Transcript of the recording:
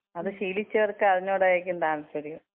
അത് ശീലിച്ചവർക്ക് അതിനോടായിരിക്കും താൽപര്യം.